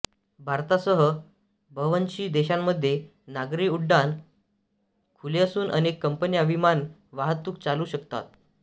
भारतासह बव्हंशी देशांमध्ये नागरी उड्डाण खुले असून अनेक कंपन्या विमान वाहतूक चालवू शकतात